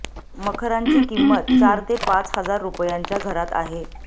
मखरांची किंमत चार ते पाच हजार रुपयांच्या घरात आहे